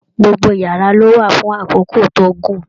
Gbogbo yàrá lo wà fún àkókò tó gùn.